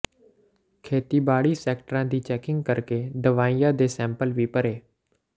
ਖੇਤੀਬਾੜੀ ਸੈਟਰਾਂ ਦੀ ਚੈਕਿੰਗ ਕਰਕੇ ਦਵਾਈਆਂ ਦੇ ਸੈਂਪਲ ਵੀ ਭਰੇ